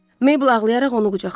Meybl ağlayaraq onu qucaqladı.